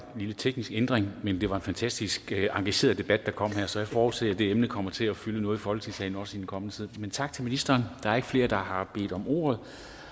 lille teknisk ændring men det var en fantastisk engageret debat der kom her så jeg forudser at det emne kommer til at fylde noget i folketingssalen også i den kommende tid men tak til ministeren der er ikke flere der har bedt om ordet